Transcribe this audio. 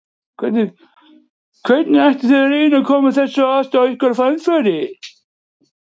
Hvernig ætlið þið að reyna að koma þeirri andstöðu ykkar á framfæri?